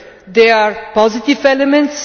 There are positive elements.